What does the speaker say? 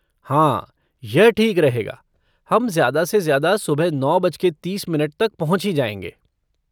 हाँ, यह ठीक रहेगा, हम ज़्यादा से ज़्यादा सुबह नौ बज के तीस मिनट तक पहुँच ही जाएंगे।